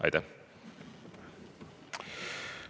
Aitäh!